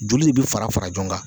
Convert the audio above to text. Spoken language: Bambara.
Joli de bɛ fara fara ɲɔgɔn kan